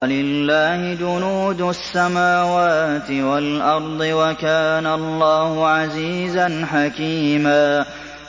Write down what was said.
وَلِلَّهِ جُنُودُ السَّمَاوَاتِ وَالْأَرْضِ ۚ وَكَانَ اللَّهُ عَزِيزًا حَكِيمًا